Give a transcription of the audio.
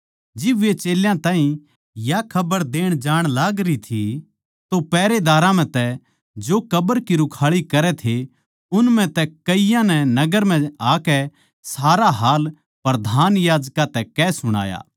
जिब वे चेल्यां ताहीं या खबर देण जाण लागरी थी तो पैहरेदारां म्ह तै जो कब्र की रुखाळी करै थे उन म्ह तै कईयाँ नै नगर म्ह आकै सारा हाल प्रधान याजकां तै कह सुणाया